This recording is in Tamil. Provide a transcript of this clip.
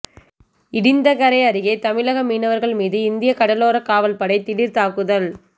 இடிந்தகரை அருகே தமிழக மீனவர்கள் மீது இந்திய கடலோரக் காவல்படை திடீர் தாக்குதல்